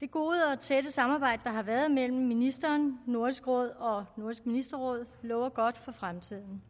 det gode og tætte samarbejde der har været mellem ministeren nordisk råd og nordisk ministerråd lover godt for fremtiden